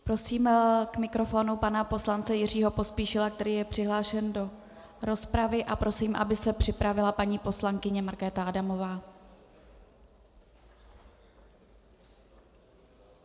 Prosím k mikrofonu pana poslance Jiřího Pospíšila, který je přihlášen do rozpravy, a prosím, aby se připravila paní poslankyně Markéta Adamová.